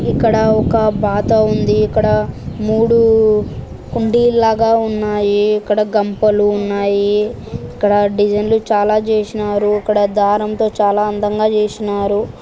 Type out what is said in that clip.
ఇక్కడ ఒక బాతా ఉంది ఇక్కడ మూడు కుండీల్లాగా ఉన్నాయి ఇక్కడ గంపలు ఉన్నాయి ఇక్కడ డిజైన్స్ చాలా జేసినారు ఇక్కడ దారం తో చాలా అందంగా జేసినారు.